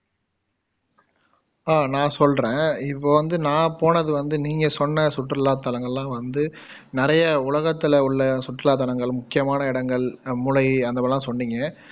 அஹ் நான் சொல்லுறேன் இப்போ வந்து நான் போனது வந்து நீங்க சொன்ன சுற்றுலா தலங்கள்லாம் வந்து நிறையா உலகத்துல உள்ள சுற்றுலா தலங்கள் முக்கியமான இடங்கள் அஹ் அந்தமாதிரியெல்லாம் சொன்னிங்க